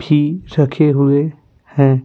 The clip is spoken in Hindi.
भी रखे हुए हैं।